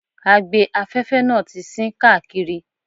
Agbe-afẹ́fẹ́ náà ti sín káàkiri.